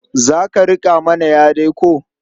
Za ka riƙa mana ƴa dai ko?